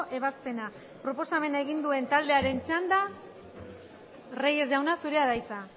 ebazpena proposamena egin duen taldearen txanda reyes jauna zurea da hitza